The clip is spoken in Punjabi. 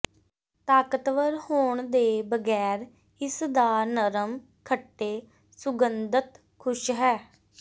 ਤਾਕਤਵਰ ਹੋਣ ਦੇ ਬਗੈਰ ਇਸਦਾ ਨਰਮ ਖੱਟੇ ਸੁਗੰਧਤ ਖੁਸ਼ ਹੈ